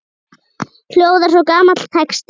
hljóðar svo gamall texti